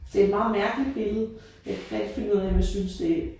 Det et meget mærkeligt billede. Jeg kan ikke rigtig finde ud af om jeg synes det